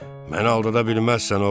Məni aldadabilməzsən, oğul.